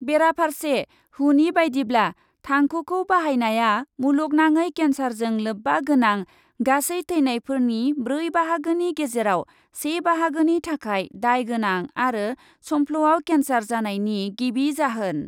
बेराफारसे हुनि बायदिब्ला, थांखुखौ बाहायनाया मुलुगनाङै केन्सारजों लोब्बा गोनां गासै थैनायफोरनि ब्रै बाहागोनि गेजेराव से बाहागोनि थाखाय दाय गोनां आरो संफ्ल'याव केन्सार जानायनि गिबि जाहोन।